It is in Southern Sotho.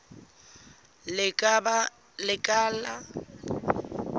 lekala